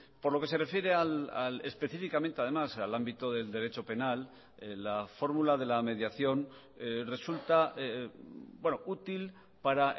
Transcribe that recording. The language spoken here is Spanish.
por lo que se refiere específicamente además al ámbito del derecho penal la fórmula de la mediación resulta útil para